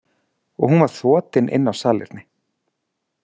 Og hún var þotin inn á salerni.